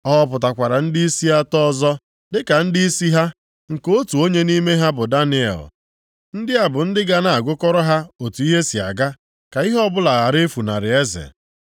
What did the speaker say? O họpụtakwara ndịisi atọ ọzọ dịka ndịisi ha, nke otu onye nʼime ha bụ Daniel. Ndị a bụ ndị ga na-agụkọrọ ha otu ihe si aga, ka ihe ọbụla ghara ifunarị eze.